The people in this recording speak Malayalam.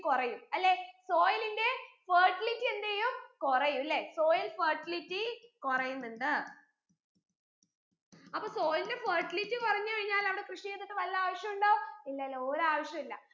കുറയും അല്ലെ soil ന്റെ fertility എന്തെയ്യും കുറയും അല്ലെ soil fertility കുറയുന്നുണ്ട് അപ്പൊ soil ന്റെ fertility കുറഞ്ഞു കഴിഞ്ഞാൽ അവിടെ കൃഷി ചെയ്തിട്ട് വല്ല ആവശ്യവുഉണ്ടോ ഇല്ലല്ലോ ഒരാവശ്യവു ഇല്ല